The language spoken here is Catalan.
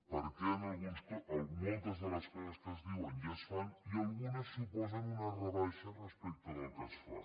perquè moltes de les coses que es diuen ja es fan i algunes suposen una rebaixa respecte del que es fa